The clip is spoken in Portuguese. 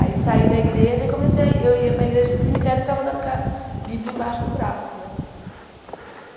Aí saí da igreja e comecei a ir... Eu ia para a igreja, para o cemitério e ficava andando com a Bíblia embaixo do braço, né?